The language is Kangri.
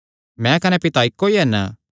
मैं कने पिता इक्को ई हन